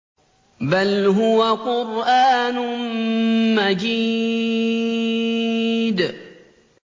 بَلْ هُوَ قُرْآنٌ مَّجِيدٌ